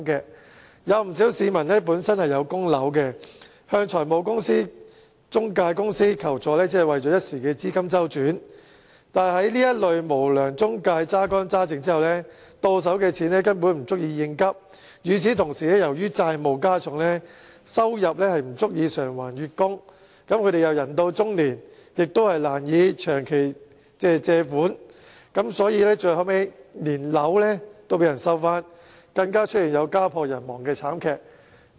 不少要供樓的市民，為一時的資金周轉向財務中介公司求助，但被這類無良中介榨乾榨淨後，到手的錢根本不足以應急；與此同時，由於債務加重，收入不足以償還月供，人到中年亦難以長期借貸，所以，最後連房屋也被收去，更出現家破人亡的慘劇。